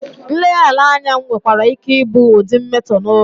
Nleghara anya nwekwara ike ịbụ ụdị mmetọ n'ụlọ.